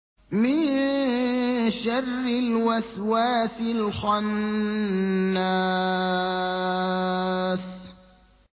مِن شَرِّ الْوَسْوَاسِ الْخَنَّاسِ